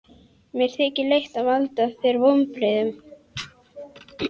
Mér þykir leitt að valda þér vonbrigðum.